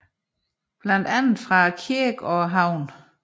Blandt andet fra kirken og havnen